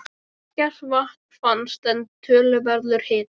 Ekkert vatn fannst, en töluverður hiti.